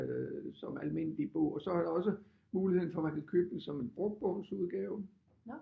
Som almindelig bog og så er der også muligheden for man kan købe den som en brugt bogs udgave